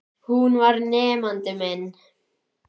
Hún var nemandi minn.